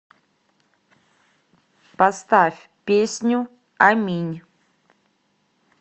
поставь песню аминь